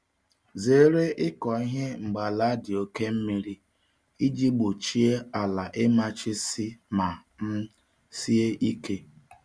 Zere ịkọ ihe mgbe ala dị oke mmiri iji gbochie ala ịmachisi ma um sie ike